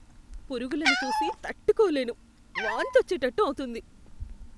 పురుగులని చూసి తట్టుకోలేను, వాంతి వచ్చేటట్టు అవుతుంది.